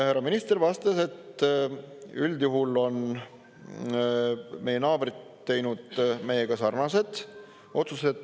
Härra minister vastas, et üldjuhul on meie naabrid teinud meiega sarnased otsused.